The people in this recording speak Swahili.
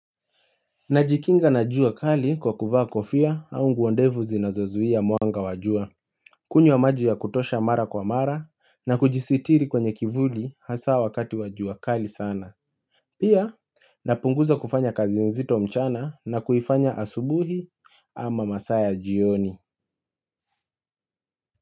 Najikinga na jua kali kwa kuvaa kofia au nguo ndefu zinazozuia mwanga wa jua kunywa maji ya kutosha mara kwa mara na kujisitiri kwenye kivuli hasa wakati wa jua kali sana Pia napunguza kufanya kazi nzito mchana na kuifanya asubuhi ama masaa ya jioni.